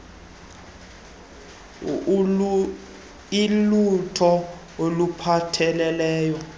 dti ilulo oluphatheleleke